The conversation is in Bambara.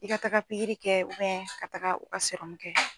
I ka taaga pikiri kɛ ka taaga u ka kɛ.